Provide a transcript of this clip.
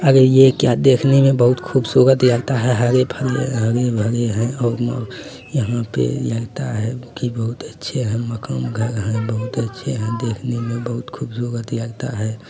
अरे ये क्या देखने में बहुत खूबसूरत लगता है हरे-भरे हरे-भरे हैं और यहाँ पे लगता है की बहुत अच्छे हैं मकान-घर है बहुत अच्छे देखने में बहुत खूबसूरत लगता है।